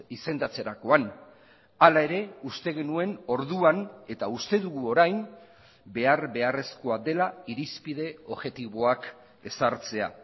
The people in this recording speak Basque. izendatzerakoan hala ere uste genuen orduan eta uste dugu orain behar beharrezkoa dela irizpide objektiboak ezartzea